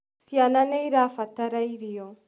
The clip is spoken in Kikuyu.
Cĩana nĩĩrabatara irio.